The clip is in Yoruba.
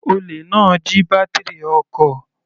Olè náà jí bátírì ọkọ̀.